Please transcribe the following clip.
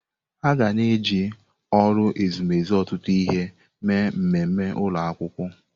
Aga na-eji ụlọ ezumezu ọtụtụ ihe mee mmemme ụlọ akwụkwọ.